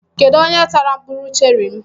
Kedụ onye tara mkpụrụ cherị m?